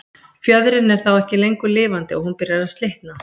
Fjöðrin er þá ekki lengur lifandi og hún byrjar að slitna.